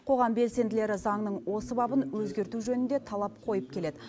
қоғам белсенділері заңның осы бабын өзгерту жөнінде талап қойып келеді